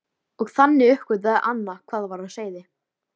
Og þannig uppgötvaði Anna hvað var á seyði.